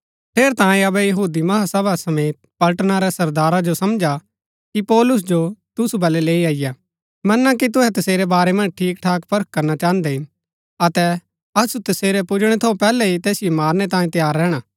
ठेरैतांये अबै महासभा समेत पलटना रै सरदारा जो समझा कि पौलुस जो तुसु बलै लैई अईआ मना कि तुहै तसेरै बारै मन्ज ठीक ठाक परख करना चाहन्दै हिन अतै असु तसेरै पुजणै थऊँ पैहलै ही तैसिओ मारनै तांयें तैयार रैहणा